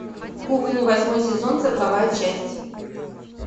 кухня восьмой сезон сороковая часть